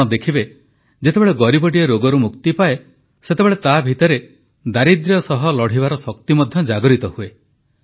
ଆପଣ ଦେଖିବେ ଯେତେବେଳେ ଗରିବଟିଏ ରୋଗରୁ ମୁକ୍ତି ପାଏ ସେତେବେଳେ ତାଭିତରେ ଦାରିଦ୍ର୍ୟ ସହ ଲଢ଼ିବାର ଶକ୍ତି ମଧ୍ୟ ଜାଗୃତ ହୁଏ